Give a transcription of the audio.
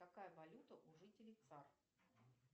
какая валюта у жителей цар